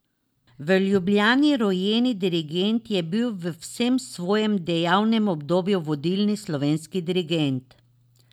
V Ljubljani rojeni dirigent je bil v vsem svojem dejavnem obdobju vodilni slovenski dirigent.